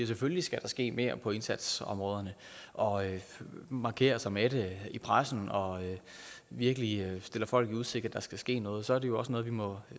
selvfølgelig skal ske mere på indsatsområderne og han markerer sig med det i pressen og virkelig stiller folk i udsigt at der skal ske noget så er det jo også noget vi må